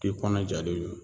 K'i kɔnɔ jalen yo